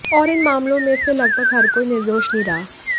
और इन मामलों में से लगभग हर कोई निर्दोष नहीं रहा